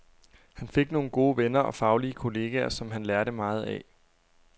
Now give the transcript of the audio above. Han fik nogle gode venner og faglige kolleger, som han lærte meget af.